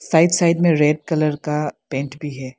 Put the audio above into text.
Right side में red colour का paint भी है।